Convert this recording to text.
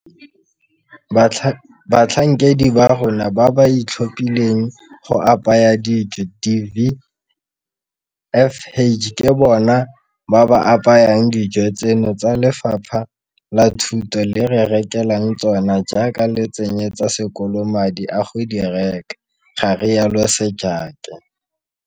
Batlhankedi ba rona ba ba ithaopileng go apaya dijo di-VFH ke bona ba ba apayang dijo tseno tse Lefapha la Thuto le re rekelang tsona jaaka le tsenyetsa sekolo madi a go di reka, ga rialo Sejake.